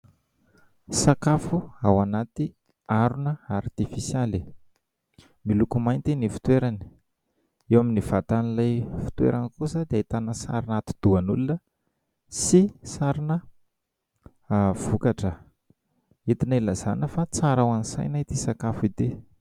Sakafo ao anaty harona artifisialy, miloko mainty ny fitoerany. Eo amin'ny vatan'ilay fitoerana kosa dia ahitana sarina atidohan'olona sy sarina vokatra entina ilazana fa tsara ho an'ny saina itỳ sakafo itỳ.